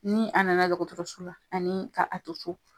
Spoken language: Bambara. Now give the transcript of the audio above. Ni a nana dɔgɔtɔrɔso la ani a a to so.